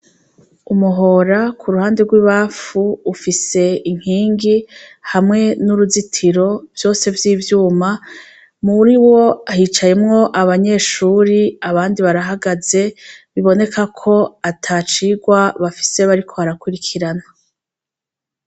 Umuhora ku ruhande rw'ibafu ufise impingi hamwe n'uruzitiro vyose by'ivyuma muri wo hicayemwo abanyeshuri abandi barahagaze biboneka ko atacirwa bafise bariko arakurikirana.